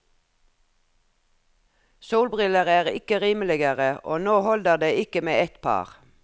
Solbriller er ikke rimeligere, og nå holder det ikke med ett par.